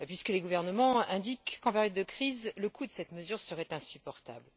Les gouvernements indiquent qu'en période de crise, le coût de cette mesure serait insupportable.